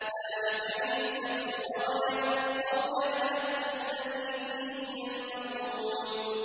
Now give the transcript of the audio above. ذَٰلِكَ عِيسَى ابْنُ مَرْيَمَ ۚ قَوْلَ الْحَقِّ الَّذِي فِيهِ يَمْتَرُونَ